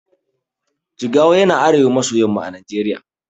Jigawa yana arewa maso yamma a najeriya